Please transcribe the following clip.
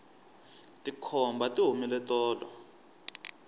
tikhomba ti humile tolo